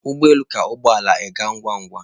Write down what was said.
Ụgbọ elu ka ụgbọ ala aga ngwa ngwa